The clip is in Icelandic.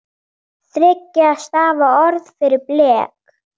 Þriggja stafa orð fyrir blek?